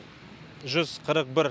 жүз қырық бір